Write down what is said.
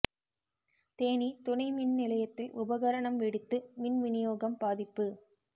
தேனி துணை மின் நிலையத்தில் உபகரணம் வெடித்து மின் விநியோகம் பாதிப்பு